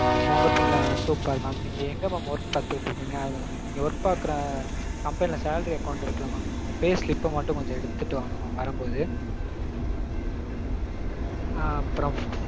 உங்க பேர்லதா super mam. நீங்க எங்க mam work பாத்துட்டு இருக்கீங்க. நீங்க work பாக்கற company ல salary account இருக்கில்ல mam. அந்த pay slip மட்டும் கொஞ்சம் எடுத்துட்டு வாங்க mam வரும்போது.